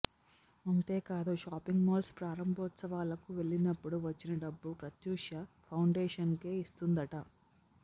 అంతేకాదు shopping malls ప్రారంభోత్సవాలకు వెళ్లినప్పుడు వచ్చిన డబ్బు ప్రత్యూష ఫౌండేషన్కె ఇస్తుందట